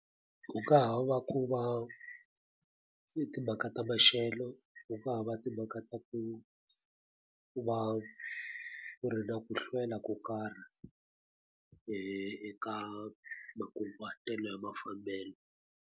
Ku nga ha va ku va etimhaka ta maxelo, ku nga ha va timhaka ta ku va ku ri na ku hlwela ko karhi eka makunguhatelo ya mafambelo.